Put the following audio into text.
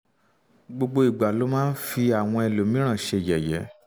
gbogbo ìgbà ló máa ń fi àwọn ẹlòmíràn ṣe yẹ̀yẹ́